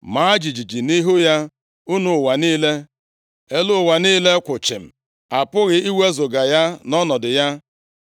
Maa jijiji nʼihu ya, unu ụwa niile. Elu ụwa niile kwụ chịm, a pụghị iwezuga ya nʼọnọdụ ya.